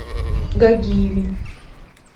гагиеве